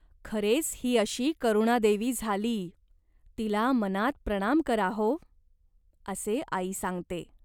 खरेच ही अशी करुणादेवी झाली. तिला मनात प्रणाम करा हो !" असे आई सांगते.